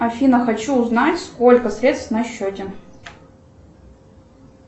афина хочу узнать сколько средств на счете